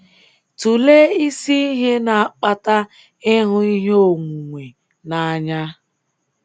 Tụlee isi ihe na-akpata ịhụ ihe onwunwe n’anya.